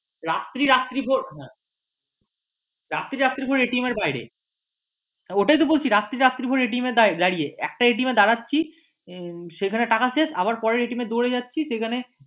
রাত্রি রাত্রি ভোর এর বাইরে রাত্রি রাত্রি ভোর একটা এ দাঁড়াচ্ছি টাকা শেষ আবার পরের দৌড়ে যাচ্ছি সেখানে